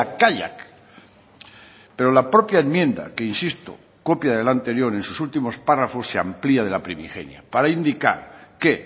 kaiak pero la propia enmienda que insisto copia del anterior en sus últimos párrafos se amplía de la primigenia para indicar que